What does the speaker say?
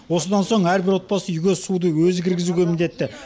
осыдан соң әрбір отбасы үйге суды өзі кіргізуге міндетті